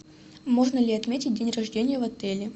можно ли отметить день рождения в отеле